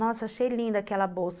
Nossa, achei linda aquela bolsa.